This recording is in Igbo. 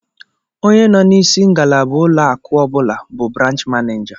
Onye nọ n'isi ngalaba ụlọakụ ọ bụla bụ branch manịja